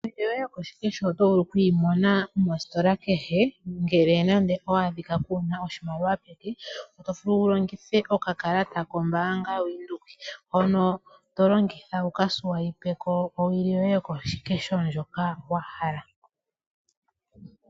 Owili yoye yokoshikesho oto vulu oku yi mona mositola kehe, ngele nenge owa adhika kuuna oshimaliwa peke, oto vulu wu longithe okakalata kombaanga yo Bank Windhoek hono to longitha wu ka swaipe ko owili yoye yokoshikesho ndjoka wa hala.